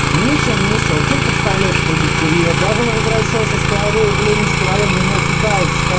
миша миша вот зачем подставляешь других курьеров давай возвращайся скорей в ленинский район меня кидает ска